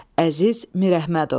Əziz Mirəhmədov.